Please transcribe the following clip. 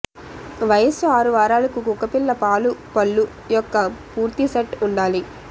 వయస్సు ఆరు వారాలకు కుక్కపిల్ల పాలు పళ్ళు యొక్క పూర్తి సెట్ ఉండాలి